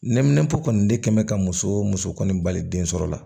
Neminɛnpo kɔni de kɛ bɛ ka muso muso kɔni bali den sɔrɔla